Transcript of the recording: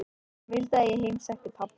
Hann vildi að ég heimsækti pabba.